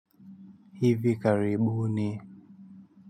Hivi karibuni.